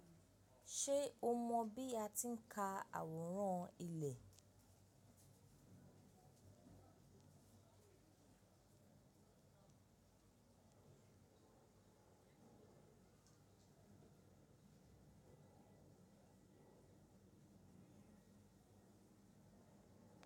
Ṣe o mọ bi a ti n ka aworan ilẹ?